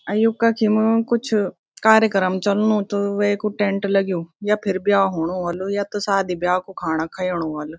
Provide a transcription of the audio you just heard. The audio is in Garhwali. अ यु कखिम कुछ कार्यक्रम चल्नु त वेकु टेंट लग्युं या फिर ब्या हुनु ह्वालु या त सादी ब्या कु खाणा खयेणु ह्वल।